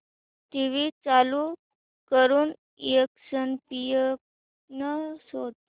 TV चालू करून ESPN शोध